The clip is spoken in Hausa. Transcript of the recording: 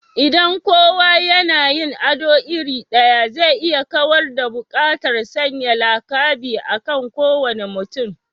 Idan kowa yana yin ado iri ɗaya, zai iya kawar da buƙatar sanya lakabi akan kowane mutum